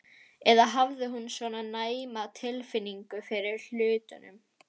Eða hafði hún svona næma tilfinningu fyrir hlutunum?